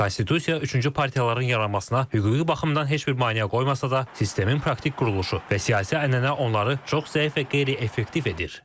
Konstitusiya üçüncü partiyaların yaranmasına hüquqi baxımdan heç bir maneə qoymasa da, sistemin praktik quruluşu və siyasi ənənə onları çox zəif və qeyri-effektiv edir.